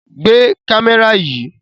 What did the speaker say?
Gbé kámẹ́rà yìí!